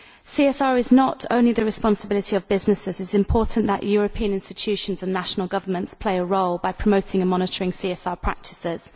CSR is not only the responsibility of businesses it is important that European institutions and national governments play a role by promoting and monitoring CSR practices.